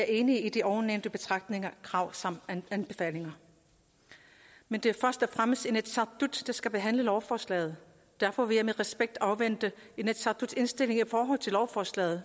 enig i de ovennævnte betragtninger krav samt anbefalinger men det er først og fremmest inatsisartut der skal behandle lovforslaget derfor vil jeg med respekt afvente inatsisartuts indstilling i forhold til lovforslaget